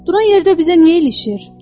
Duran yerdə bizə niyə ilişir?